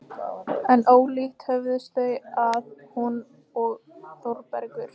En ólíkt höfðust þau að, hún og Þórbergur.